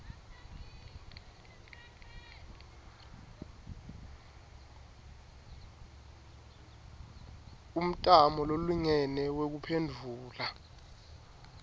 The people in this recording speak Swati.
umtamo lolingene wekuphendvula